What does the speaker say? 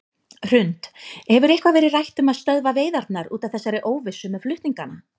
Hrund: Hefur eitthvað verið rætt um að stöðva veiðarnar út af þessari óvissu með flutningana?